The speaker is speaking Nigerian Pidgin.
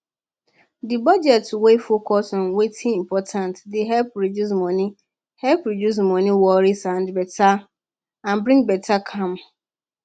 budget wey focus on wetin important dey help reduce money help reduce money worry and bring better calm